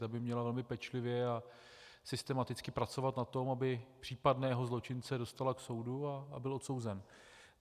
Ta by měla velmi pečlivě a systematicky pracovat na tom, aby případného zločince dostala k soudu a byl odsouzen.